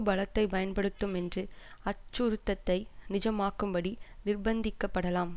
பலத்தை பயன்படுத்தும் என்று அச்சுறுத்ததை நிஜமாக்கும்படி நிர்ப்ந்திக்கப்படலாம்